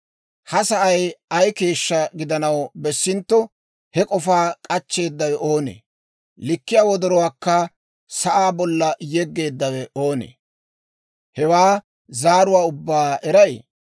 Ha sa'ay ay keeshshaa gidanaw bessintto, he k'ofaa k'achcheeddawe oonee? Likkiyaa wodoruwaakka sa'aa bolla yeggeeddawe oonee? Hewaa zaaruwaa ubbaa eray?